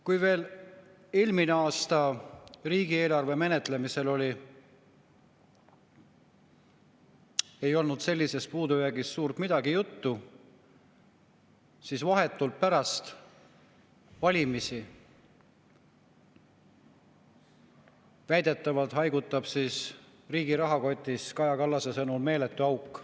Kui veel eelmine aasta riigieelarve menetlemisel ei olnud sellisest puudujäägist suurt midagi juttu, siis vahetult pärast valimisi haigutab riigi rahakotis väidetavalt, Kaja Kallase sõnul meeletu auk.